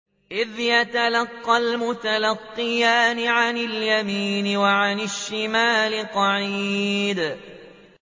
إِذْ يَتَلَقَّى الْمُتَلَقِّيَانِ عَنِ الْيَمِينِ وَعَنِ الشِّمَالِ قَعِيدٌ